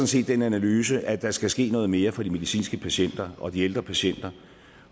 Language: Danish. set den analyse at der skal ske noget mere for de medicinske patienter og de ældre patienter